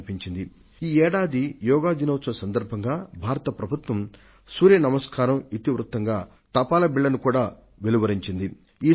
పోయిన వారం భారతదేశ ప్రభుత్వం ఈ ఏడాది యోగా దినాన్ని పురస్కరించుకొని సూర్య మనస్కారాలు ఇతివృత్తంగా ఒక తపాలా బిళ్లను విడుదల చేయడం మీరు చూసే ఉంటారు